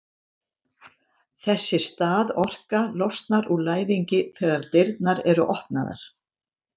þessi staðorka losnar úr læðingi þegar dyrnar eru opnaðar